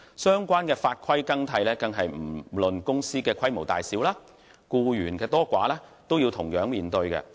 相關法規的更替是不論公司的規模大小、僱員多寡，均須同樣面對的。